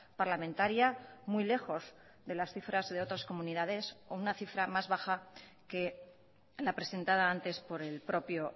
parlamentaria muy lejos de las cifras de otras comunidades o una cifra más baja que la presentada antes por el propio